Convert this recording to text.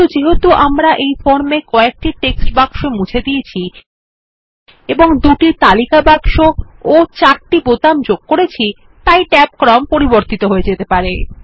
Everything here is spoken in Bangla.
কিন্তু যেহেতু আমরা ফর্মে কয়েকটি টেক্সট বাক্স মুছে দিয়েছি এবং দুটি তালিকা বাক্স ও চারটি বোতাম যোগ করেছি তাই ট্যাব ক্রম পরিবর্তিত হয়ে যেতে পারে